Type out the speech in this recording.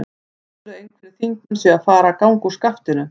Heldurðu að einhverjir þingmenn séu að fara að ganga úr skaftinu?